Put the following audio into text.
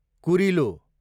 कुरिलो